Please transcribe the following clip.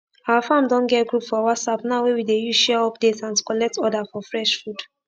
our farm don get group for whatsapp now wey we dey use share update and to collect order for fresh food